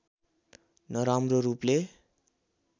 नराम्रो रूपले